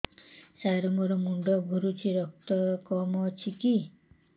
ସାର ମୋର ମୁଣ୍ଡ ଘୁରୁଛି ରକ୍ତ କମ ଅଛି କି